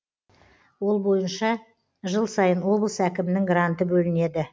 ол бойынша жыл сайын облыс әкімінің гранты бөлінеді